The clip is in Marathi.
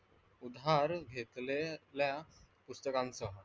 उधार घेतलेल्या पुस्तकांसह.